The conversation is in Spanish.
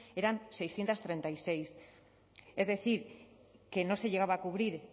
eran seiscientos treinta y seis es decir que no se llegaba a cubrir